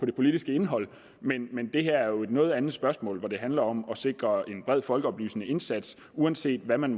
det politiske indhold men men det her drejer sig jo om et noget andet spørgsmål hvor det handler om at sikre en bred folkeoplysende indsats uanset hvad man